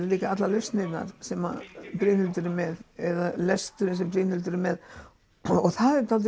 líka allar lausnirnar sem Brynhildur er með eða lesturinn sem Brynhildur er með og það er dálítið